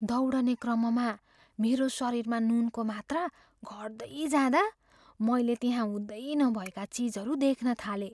दौडने क्रममा मेरो शरीरमा नुनको मात्रा घट्दै जाँदा, मैले त्यहाँ हुँदै नभएका चिजहरू देख्न थालेँ।